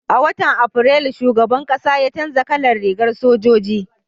a watan afrilu shugaban ƙasa ya canja kalan rigar sojoji